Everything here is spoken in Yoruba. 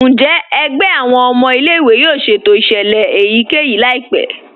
Njẹ́ ègbẹ̀ awọn ọmọ ilẹ̀-ìwé yóò ṣétò iṣẹ́lẹ̀ èyíkẹ́yí laípẹ̀?